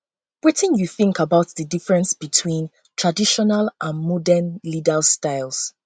wetin you think about di difference between traditional and modern leaders styles